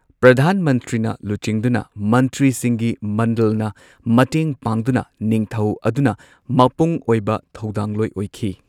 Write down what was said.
ꯄ꯭ꯔꯙꯥꯟ ꯃꯟꯇ꯭ꯔꯤꯅ ꯂꯨꯆꯤꯡꯗꯨꯅ ꯃꯟꯇ꯭ꯔꯤꯁꯤꯡꯒꯤ ꯃꯟꯗꯜꯅ ꯃꯇꯦꯡ ꯄꯥꯡꯗꯨꯅ ꯅꯤꯡꯊꯧ ꯑꯗꯨꯅ ꯃꯄꯨꯡ ꯑꯣꯏꯕ ꯊꯧꯗꯥꯡꯂꯣꯏ ꯑꯣꯏꯈꯤ꯫